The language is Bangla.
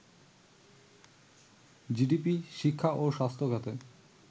জিডিপি, শিক্ষা ও স্বাস্থ্য খাতে